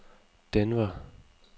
Denver